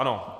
Ano.